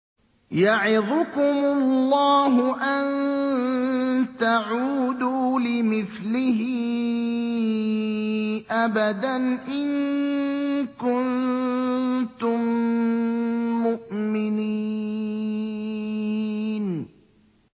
يَعِظُكُمُ اللَّهُ أَن تَعُودُوا لِمِثْلِهِ أَبَدًا إِن كُنتُم مُّؤْمِنِينَ